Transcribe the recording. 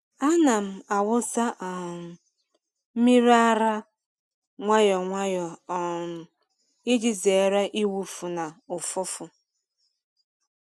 A na-awụsa um mmiri ara nwayọ nwayọ um iji zere ịwụfu na ụfụfụ.